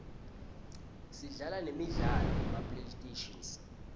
sidlala nemi sla lo yema playstation